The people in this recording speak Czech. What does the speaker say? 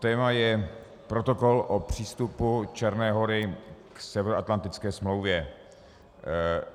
Téma je Protokol o přístupu Černé Hory k Severoatlantické smlouvě.